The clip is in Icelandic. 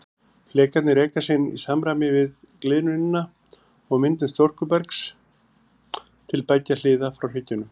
Flekarnir reka síðan í samræmi við gliðnunina og myndun storkubergs til beggja hliða frá hryggjunum.